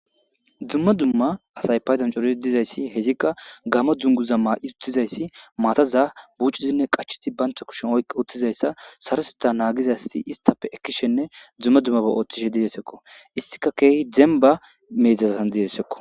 Duma duma assayi gamo dunuguza mayi utidayisi mataza buccidi qachi wothidayisi banitta kushen oyiqi othizayissa, sarrotetha nagidda assati initappe ekishini duma dumaba othishe deyesi.